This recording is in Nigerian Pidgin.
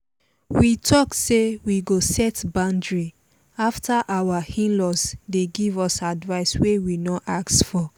we talk say we go set boundary after our in-laws dey give us advice wey we no ask for